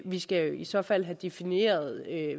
vi skal jo i så fald have defineret